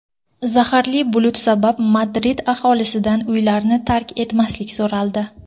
Zaharli bulut sabab Madrid aholisidan uylarni tark etmaslik so‘raldi.